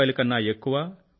50 కన్నా ఎక్కువ రూ